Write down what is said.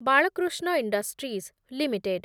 Balakrishna industries limited